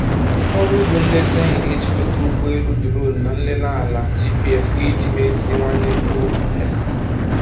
Ọrụ ugbo nlezianya na-ejikọta ụgbọ elu duronu na nlele ala GPS iji meziwanye mkpụrụ kwa hekta.